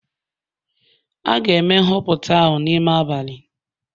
A ga-eme nhọpụta ahụ n'ime abalị